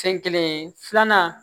Sen kelen filanan